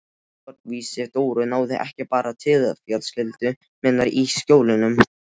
Fórnfýsi Dóru náði ekki bara til fjölskyldu minnar í Skjólunum.